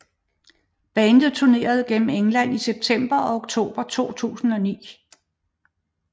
Bandet turnerede derefter England i september og oktober 2009